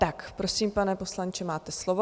Tak prosím, pane poslanče, máte slovo.